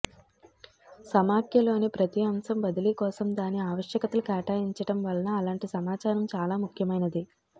సమాఖ్యలోని ప్రతి అంశం బదిలీ కోసం దాని ఆవశ్యకతలు కేటాయించటం వలన అలాంటి సమాచారం చాలా ముఖ్యమైనది